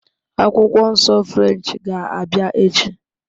Akwụkwọ Nsọ French ga-abịa echi